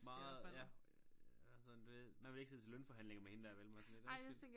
Meget ja er sådan du ved man vil ikke sidde til lønforhandlinger med hende der vel man er sådan lidt undskyld